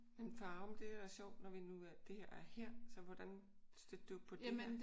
Men Farum det er da sjovt når vi nu er det her er her. Så hvordan stødte du på det her?